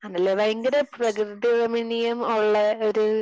ആണല്ലേ? ഭയങ്കര പ്രകൃതി രമണീയം ഉള്ള ഒരു